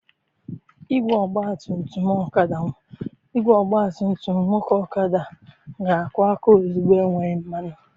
Igwe ọgba tum tum nwoke Okada ga-akụ aka ozugbo enweghị mmanụ.